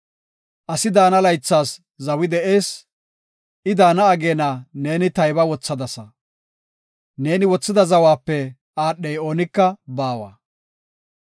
Asi daana laythas zawi de7ees; I daana ageena neeni tayba wothadasa; neeni wothida zawape aadhey oonika baawa.